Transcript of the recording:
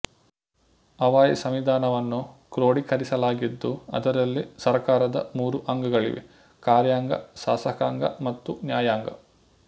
Hawaii ಸಂವಿಧಾನವನ್ನು ಕ್ರೋಡಿಕರಿಸಲಾಗಿದ್ದು ಅದರಲ್ಲಿ ಸರ್ಕಾರದ ಮೂರು ಅಂಗಗಳಿವೆ ಕಾರ್ಯಾಂಗ ಶಾಸಕಾಂಗ ಮತ್ತು ನ್ಯಾಯಾಂಗ